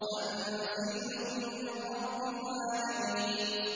تَنزِيلٌ مِّن رَّبِّ الْعَالَمِينَ